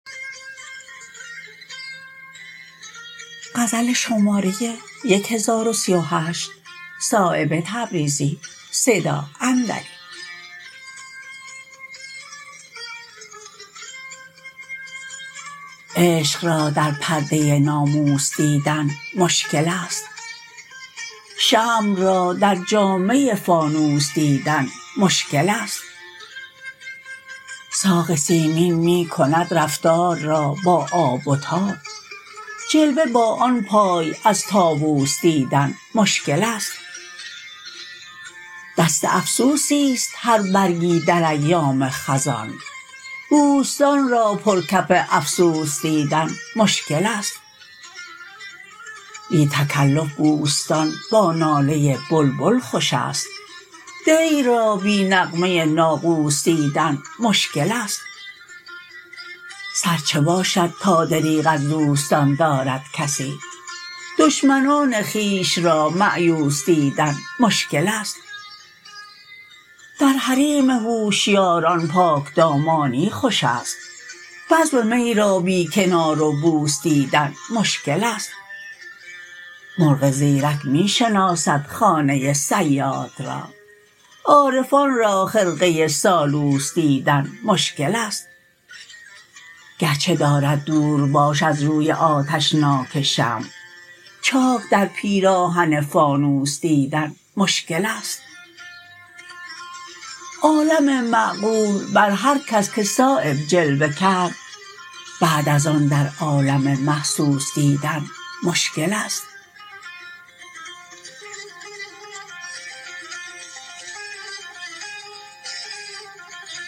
عشق را در پرده ناموس دیدن مشکل است شمع را در جامه فانوس دیدن مشکل است ساق سیمین می کند رفتار را با آب و تاب جلوه با آن پای از طاوس دیدن مشکل است دست افسوسی است هر برگی در ایام خزان بوستان را پر کف افسوس دیدن مشکل است بی تکلف بوستان با ناله بلبل خوش است دیر را بی نغمه ناقوس دیدن مشکل است سر چه باشد تا دریغ از دوستان دارد کسی دشمنان خویش را مأیوس دیدن مشکل است در حریم هوشیاران پاکدامانی خوش است بزم می را بی کنار و بوس دیدن مشکل است مرغ زیرک می شناسد خانه صیاد را عارفان را خرقه سالوس دیدن مشکل است گرچه دارد دور باش از روی آتشناک شمع چاک در پیراهن فانوس دیدن مشکل است عالم معقول بر هر کس که صایب جلوه کرد بعد ازان در عالم محسوس دیدن مشکل است